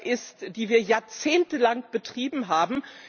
ist, die wir jahrzehntelang betrieben haben.